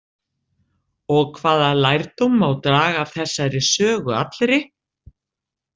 Og hvaða lærdóm má draga af þessari sögu allri?